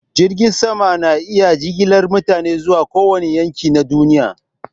Jiragen sama na iya jigilar mutane zuwa kowane yanki na duniya.